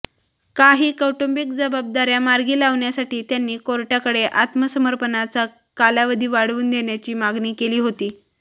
काही कौटुंबिक जबाबदाऱ्या मार्गी लावण्यासाठी त्यांनी कोर्टाकडे आत्मसमर्पणाचा कालावधी वाढवून देण्याची मागणी केली होती